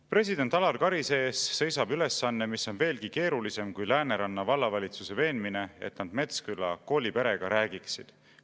"President Alar Karise ees seisab ülesanne, mis on veelgi keerulisem kui Lääneranna vallavalitsuse veenmine, et nad Metsküla kooliperega räägiksid.